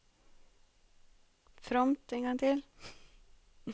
fromt